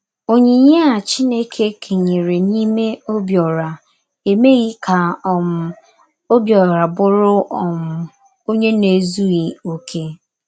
Onyinye a Chineke kenyere n’ime Obiora emeghị ka um Obiora bụrụ um onye na - ezughị okè.